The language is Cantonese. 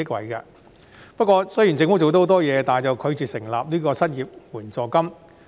雖然政府已經做了很多工作，但拒絕設立失業援助金。